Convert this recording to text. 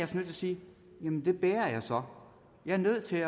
til at sige jamen det bærer jeg så jeg er nødt til